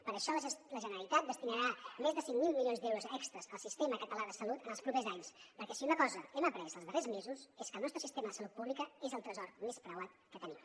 per això la generalitat destinarà més de cinc mil milions d’euros extres al sistema català de salut en els propers anys perquè si una cosa hem après els darrers mesos és que el nostre sistema de salut pública és el tresor més preuat que tenim